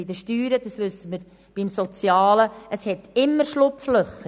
Sowohl bei den Steuern als auch beim Sozialen gibt es immer Schlupflöcher.